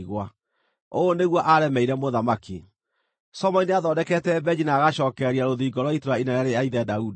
Ũũ nĩguo aaremeire Mũthamaki: Solomoni nĩathondekete mbenji na agacookereria rũthingo rwa itũũra inene rĩa ithe Daudi.